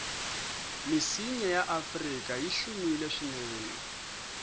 misinya yaafrika yihlumile swinene